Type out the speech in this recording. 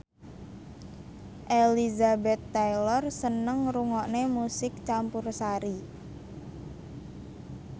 Elizabeth Taylor seneng ngrungokne musik campursari